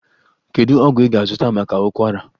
Kedu ọgwụ ị ga-azụta maka ụkwara?